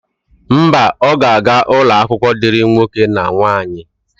Mba, ọ ga-aga n'ụlọakwụkwọ dịrị nwoke na nwaanyị.